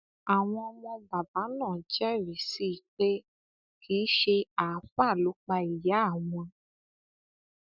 àwọn ọmọ bàbá náà jẹrìí sí i pé kì í ṣe àáfàá ló pa ìyá àwọn